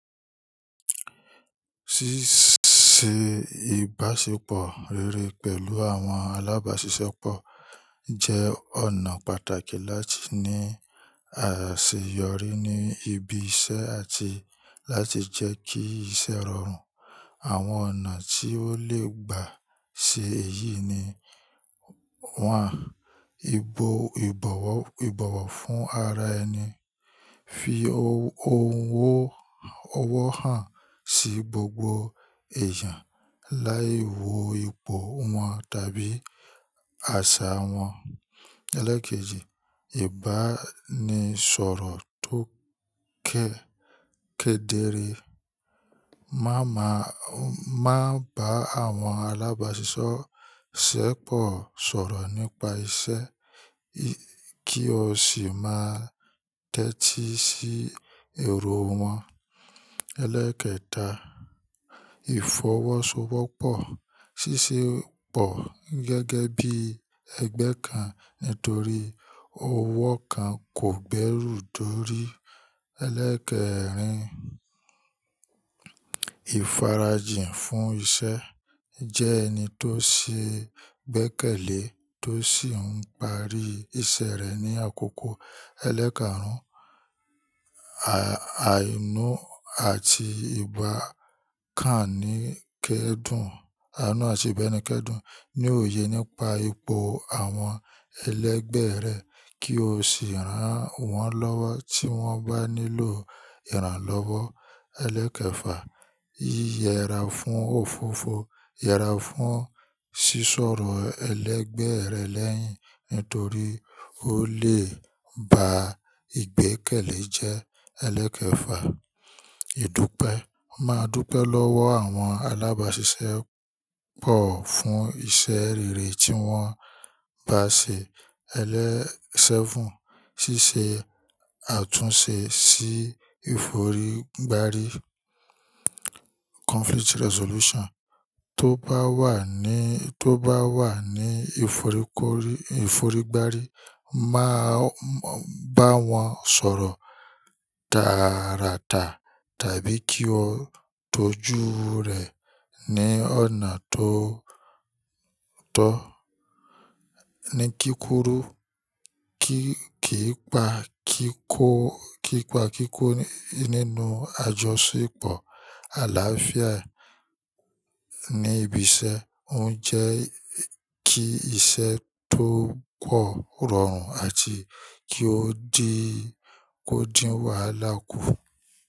Ṣíṣe ìbáṣepọ̀ rere pẹ̀lú àwọn alábáṣiṣẹ́pọ̀ jẹ́ ọ̀nà pàtàkì láti ní àṣeyọrí ní ibi iṣẹ́ àti láti jẹ́ kí iṣẹ́ rọrùn. Àwọn ọ̀nà tí ó lè gbà ṣe èyí ni: one, ìbọ̀wọ̀ fún ara ẹni. Fi ohùn ọwọ́ hàn sí gbogbo èèyàn láì wo ipò wọn tàbí àṣà wọn. Eléèkejì, ìbánisọ̀rọ̀ tó kẹ́ẹ́ kèdèré. Má bá àwọn alábáṣiṣẹ́pọ̀ sọ̀rọ̀ nípa iṣẹ́, kí o sì má tẹ́tí sí èrò wọn. Eléèkẹta, ìfọwọ́sowọ́pọ̀. Ṣiṣẹ́pọ̀ gẹ́gẹ́ bí ẹgbẹ́ kan nítorí ọwọ́ kan kò gbẹ́rù dórí. Eléèkẹrin, ìfarajìn fún iṣẹ́. Jẹ́ ẹni tó ṣe gbẹ́kẹ̀lé tó sì ń parí iṣẹ́ rẹ ní àkókò. Eléèkàrún, àìnú àti ìbánikẹ́dùn. Àìnú àti ìbánikẹ́dùn ní òye nípa ipò àwọn ẹlẹgbẹ́ rẹ kí o sì rán wọn lọ́wọ́ tí wọ́n bá nílò ìrànlọ́wọ́. Eléèkẹfà, yi yẹra fún òfófó. Yẹra fún sísọ̀rọ̀ ẹlẹgbẹ́ rẹ lẹ́yìn nítorí ó lè ba igbékẹ̀lé jẹ. Eléèkẹfà, ìdúpẹ́. Má dúpẹ́ lọ́wọ́ àwọn alábáṣiṣẹ́pọ̀ fún iṣẹ́ rere tí wọ́n bá ṣe. Elé seven, ṣíṣe àtúnṣe sí ìforígbárí. Tóbá wà ní ìforígbárí, má bá wọn sọ̀rọ̀ tàaràtà tàbí kí o tọ́jú rẹ̀ ní ọ̀nà tó tọ́ ní kíkúrú. Kí pa kíkó nínú àjọṣepọ̀. Àlàáfíà ní ibi iṣẹ́ ń jẹ́ kí iṣẹ́ tó pọ̀ rọrùn àti kí ó dìn wáala ku.